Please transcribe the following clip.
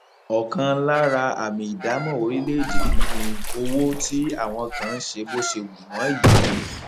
ọkan lára àmì ìdámọ orílẹèdè yìí ni owó tí àwọn kan ń ṣe bó ṣe wù wọn yìí